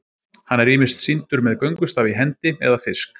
hann er ýmist sýndur með göngustaf í hendi eða fisk